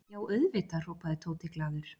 Já, auðvitað hrópaði Tóti glaður.